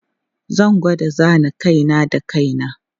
Zan gwada zana kai na da kai na.